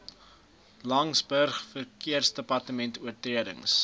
laingsburg verkeersdepartement oortredings